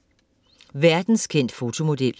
Verdenskendt fotomodel